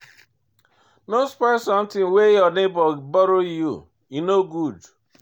No spoil sometin wey your nebor borrow you, e no good.